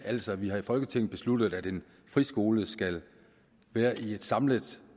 altså her i folketinget besluttet at en friskole skal være et samlet